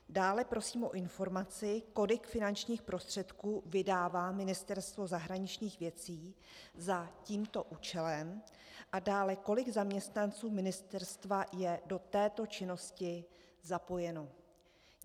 Dále prosím o informaci, kolik finančních prostředků vydává Ministerstvo zahraničních věcí za tímto účelem, a dále, kolik zaměstnanců ministerstva je do této činnosti zapojeno.